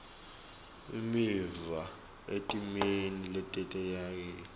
imiva etimeni letetayelekile